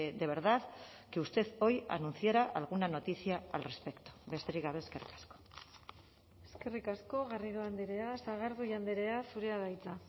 de verdad que usted hoy anunciara alguna noticia al respecto besterik gabe eskerrik asko eskerrik asko garrido andrea sagardui andrea zurea da hitza